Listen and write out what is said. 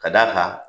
Ka d'a kan